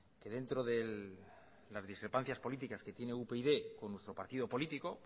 que dentro de las discrepancias políticas que tiene upyd con nuestro partido político